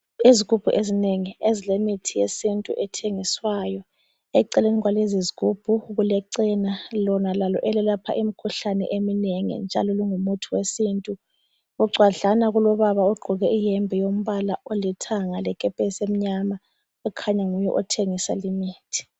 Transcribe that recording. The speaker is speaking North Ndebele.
Izigubhu ezinengi ezilemithi yesintu ethengiswayo. Eceleni kwalezi zigubhu kulecena lona lalo elelapha imikhuhlane eminengi njalo lingumuthi wesintu. Bucwadlana kulobaba ogqoke iyembe yombala olithanga lekepesi emnyama okhanya nguye othengisa limithi.